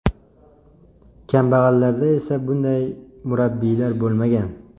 Kambag‘allarda esa bunday murabbiylar bo‘lmagan.